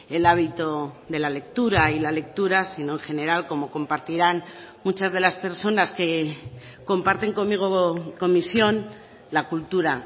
el hábito de la lectura y la lectura sino en general como compartirán muchas de las personas que comparten conmigo comisión la cultura